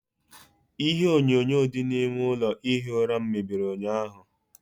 Ihe enyonyo dị n'ime ụlọ ihi ụra m mebiri ụnyaahụ.